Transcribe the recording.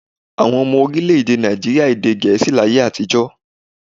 Àwọn ọmọ orílẹ̀-èdè Nàìjííríà èdè Gẹ̀ẹ́sì láyé àtijọ́.